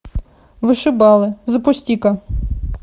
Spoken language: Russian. вышибалы запусти ка